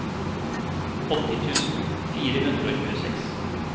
åtti tusen fire hundre og tjueseks